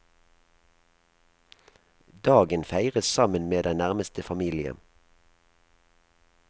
Dagen feires sammen med den nærmeste familie.